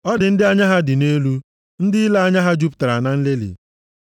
Ọ dị ndị anya ha dị nʼelu, ndị ile anya ha jupụtara na nlelị.